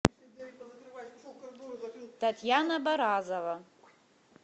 татьяна баразова